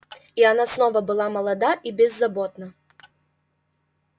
и она снова была молода и беззаботна